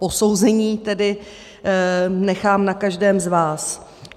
Posouzení tedy nechám na každém z vás.